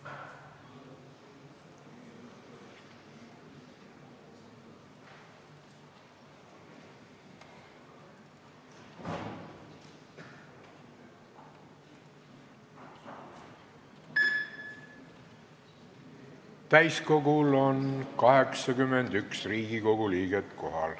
Kohaloleku kontroll Täiskogul on kohal 81 Riigikogu liiget.